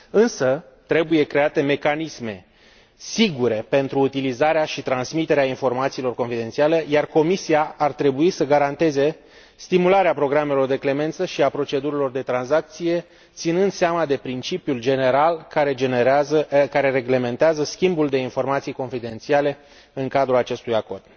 Însă trebuie create mecanisme sigure pentru utilizarea și transmiterea informațiilor confidențiale, iar Comisia ar trebui să garanteze stimularea programelor de clemență și a procedurilor de tranzacție, ținând seama de principiul general care reglementează schimbul de informații confidențiale în cadrul acestui acord.